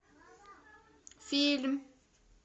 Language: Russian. фильм